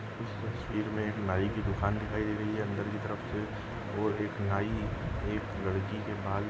इस तस्वीर मे एक नाई की दुकान दिखाई दे रही है अंदर की तरफ से और एक नाई एक लड़की के बाल--